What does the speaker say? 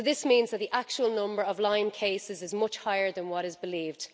This means that the actual number of Lyme cases is much higher than what is believed.